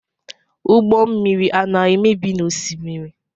Ụgbọ mmiri ana emebi n'osimiri?